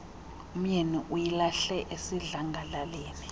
umyeni uyilahle esidlangalaleni